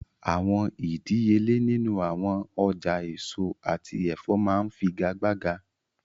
Awọn idiyele ninu awọn ọja eso ati ẹfọ maa nfigagbaga